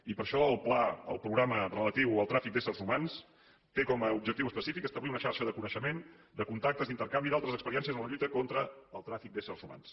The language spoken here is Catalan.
i per això el pla el programa relatiu al tràfic d’éssers humans té com objectiu específic establir una xarxa de coneixement de contactes d’intercanvi d’altres experiències en la lluita contra el tràfic d’ésser humans